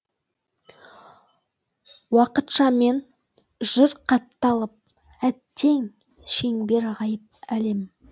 уақытшамен жүр қатталып әттең шеңбер ғайып әлем